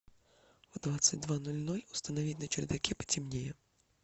в двадцать два ноль ноль установить на чердаке потемнее